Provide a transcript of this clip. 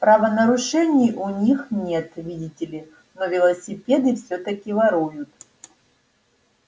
правонарушений у них нет видите ли но велосипеды всё-таки воруют